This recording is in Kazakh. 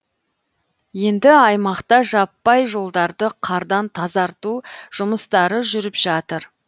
енді аймақта жаппай жолдарды қардан тазарту жұмыстары жүріп жатыр